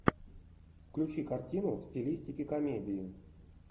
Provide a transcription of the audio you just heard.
включи картину в стилистике комедии